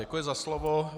Děkuji za slovo.